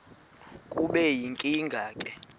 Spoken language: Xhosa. kube yinkinge ke